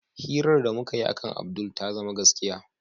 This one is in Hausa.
Hirar da mukayi akan Abdul ta zama gaskiya.